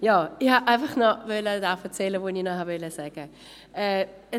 Ich wollte einfach noch das erzählen, was ich sagen wollte.